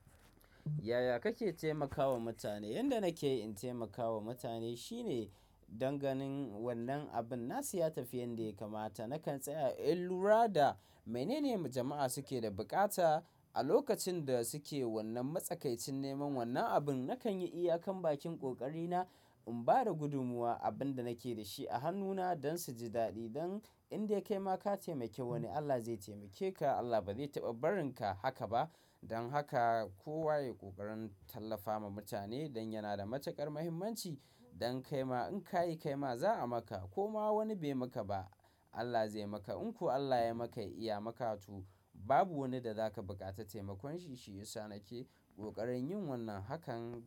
Yaya kake taimakawa mutane? Yanda nake in taimakawa mutane shine dan ganin wannan abun nasu ya tafi yanda ya kamata. Nakan tsaya in lura da menene jama'a suke da buƙata a lokacin da suke wannan matsakaicin neman wannan abin. Nakan yi iyakan bakin ƙoƙari na in ba da gudumuwa abin da nake da shi a hannu na don su ji daɗi. Don indai kai ma ka taimake wani, Allah zai taimake ka. Allah ba zai taɓa barinka haka ba. Don haka kowa ya ƙoƙarin tallafa ma mutane don yana da matuƙar muhimmanci. Dan kaima in kayi kaima za a maka. Koma wani bai maka ba, Allah zai maka. In ko Allah ya maka, ya iya maka, to babu wani da zaka buƙaci taimakon shi, shi yasa nake. Ƙoƙarin yin wannan hakan.